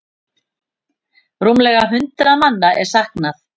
Rúmlega hundrað manna er saknað.